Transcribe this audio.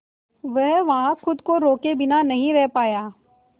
वह वहां खुद को रोके बिना नहीं रह पाया